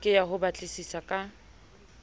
ke ya ho batlisisa ka